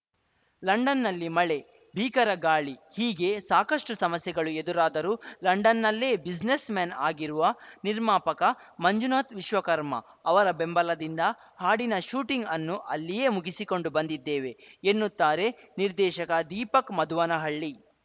ಲಂಡನ್‌ನಲ್ಲಿ ಮಳೆ ಭೀಕರ ಗಾಳಿ ಹೀಗೆ ಸಾಕಷ್ಟುಸಮಸ್ಯೆಗಳು ಎದುರಾದರೂ ಲಂಡನ್‌ನಲ್ಲೇ ಬ್ಯುಸಿನೆಸ್‌ಮೆನ್‌ ಆಗಿರುವ ನಿರ್ಮಾಪಕ ಮಂಜುನಾಥ್‌ ವಿಶ್ವಕರ್ಮ ಅವರ ಬೆಂಬಲದಿಂದ ಹಾಡಿನ ಶೂಟಿಂಗ್‌ ಅನ್ನು ಅಲ್ಲಿಯೇ ಮುಗಿಸಿಕೊಂಡು ಬಂದಿದ್ದೇವೆ ಎನ್ನುತ್ತಾರೆ ನಿರ್ದೇಶಕ ದೀಪಕ್‌ ಮಧುವನಹಳ್ಳಿ